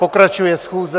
Pokračuje schůze.